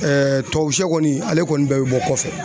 tubabu sɛ kɔni ale kɔni bɛɛ bɛ bɔ kɔfɛ